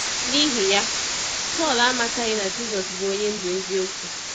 N’ihi ya, Saulu amataghị na Jisọs bụ onye ndu eziokwu.